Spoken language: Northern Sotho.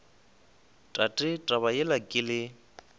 tate taba yela ke le